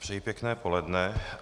Přeji pěkné poledne.